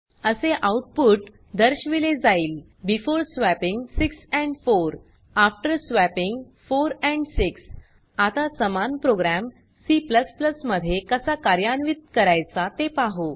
असे आउटपुट दर्शविले जाईल before swapping 6 and 4 after swapping 4 and 6 आता समान प्रोग्राम C मध्ये कसा कार्यान्वित करायचा ते पाहु